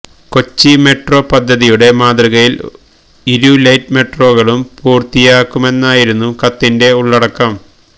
Kochi metro പദ്ധതിയുടെ മാതൃകയില് ഇരു ലൈറ്റ് മെട്രോകളും പൂര്ത്തിയാക്കുമെന്നായിരുന്നു കത്തിന്റെ ഉള്ളടക്കം